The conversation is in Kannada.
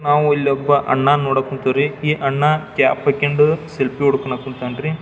ನಾವು ಇಲ್ಲೊಬ್ಬ ಅಣ್ಣಾನು ನೋಡಕ್ ಕುಂತಿವ್ರಿ ಈ ಅಣ್ಣಾ ಕ್ಯಾಪ್ ಹಾಕೊಂಡು ಸೆಲ್ಫಿ ಹೊಡ್ ಕುಂತಾನ್ರಿ.